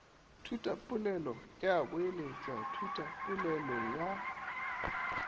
thutapolelo ya boeletša thutapolelo ye